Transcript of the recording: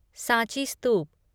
Sanchi स्तूप